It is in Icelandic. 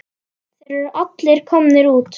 Þeir eru allir komnir út.